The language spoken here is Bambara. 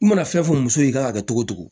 I mana fɛn fɔ muso ye i kan ka kɛ cogo o cogo